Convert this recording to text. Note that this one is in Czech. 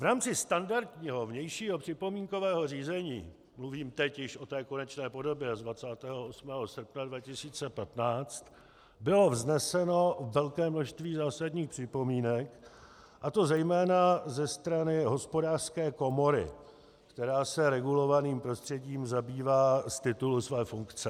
V rámci standardního vnějšího připomínkového řízení, mluvím teď již o té konečné podobě z 28. srpna 2015, bylo vzneseno velké množství zásadních připomínek, a to zejména ze strany Hospodářské komory, která se regulovaným prostředím zabývá z titulu své funkce.